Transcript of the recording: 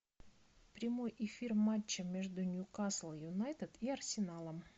прямой эфир матча между ньюкасл юнайтед и арсеналом